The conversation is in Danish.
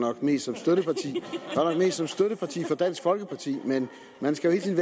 nok mest som støtteparti for dansk folkeparti men man skal jo